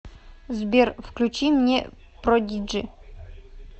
сбер включи мне продиджи